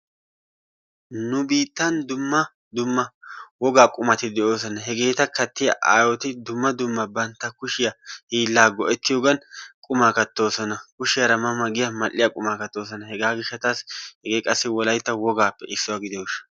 nu biittan dumma dumma wogaa qumati de'oosona. hegeeta kattiya aayyoti dumma dumma bantta kushiyaa hiilla go''ettiyoogan qumaa kattoosona. kushiyaara ma ma giyaa mal''iya quma kattoosona. hegaa gishshatassi hegee qassi wolaytta wogappe issuwa gidiyo gishshaw.